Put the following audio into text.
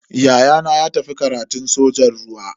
Ya'yana ya tafi karatun sojan ruwa.